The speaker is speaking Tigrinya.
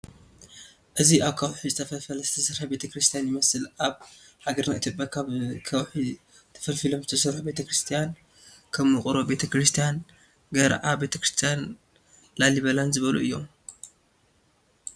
እዚ ካብ ከውሒ ተፈልፊሉ ዝተሰረሐ ቤተ-ክርስትያ ይመስል ኣብ ሃገርና ኢትዮጰያ ካብ ከውሒ ተፈልፊሎም ዝተሰርሑ ቤተ-ክርስትያን ከም ውቅሮ ቤተ-ክርስትያን፣ ገራዓ ቤተክርስትያን ላሊበላን ዝበሉ እዮም።